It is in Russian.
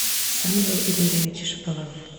самвел игоревич шаповалов